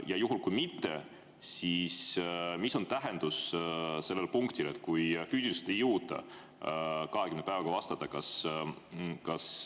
Ja juhul, kui see nii ei ole, siis mis tähendus on sellel punktil, kui füüsiliselt ei jõuta 20 päevaga vastata?